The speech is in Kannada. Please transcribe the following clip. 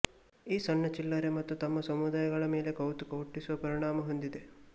ಈ ಸಣ್ಣ ಚಿಲ್ಲರೆ ಮತ್ತು ತಮ್ಮ ಸಮುದಾಯಗಳ ಮೇಲೆ ಕೌತುಕ ಹುಟ್ಟಿಸುವ ಪರಿಣಾಮ ಹೊಂದಿದೆ